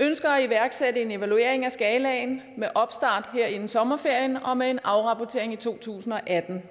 ønsker at iværksætte en evaluering af skalaen med opstart her inden sommerferien og med en afrapportering i to tusind og atten